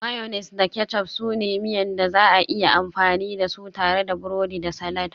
Mayonnaise da ketchup su ne miya da za a iya amfani da su tare da burodi da salad